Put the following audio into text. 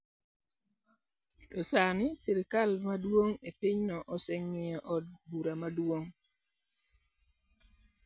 To sani, sirkal ma nigi teko e pinyno, oseng'iyo Od Bura Maduong '.